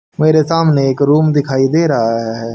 मेरे सामने एक रूम दिखाई दे रहा है।